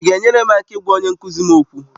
Ị ga-enyere m aka ịgwa onye nkụzi m okwu?